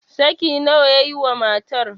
saki nawa ya yi wa matar?